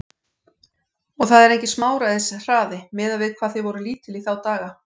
Og það er enginn smáræðis hraði, miðað við hvað þið voruð lítil í þá daga.